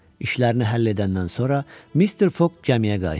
İşlərini həll edəndən sonra Mister Foqq gəmiyə qayıtdı.